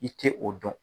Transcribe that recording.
I tɛ o dɔn